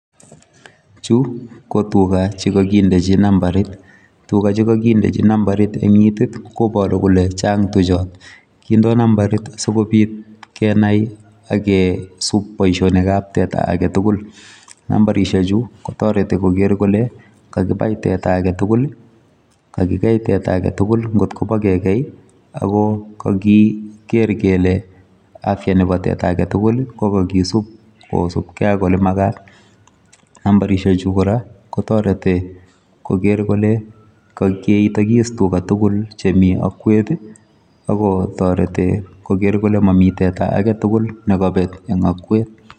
Chu ko tuga che kakindechi nambarit, tuga che kakindechi nambarit eng itit koboru kole chang tuchot, kindoi nambarit asikobit kenai ak kesup boisionikab teta ake tugul, nambarisiechu kotoreti koker kole, kakibai teta ake tugul ii, kakikei teta ake tugul ii ngot kobo kekei ii, ako kakiker kele afya nebo teta ake tugul ii ko kakisup kosupkei ak olemakat, nambarisiechu kora kotorete koker kole keitokis tuga tugul chemi akwet ii, ako torete koker kole mami teta ake tugul ne kabet eng akwet.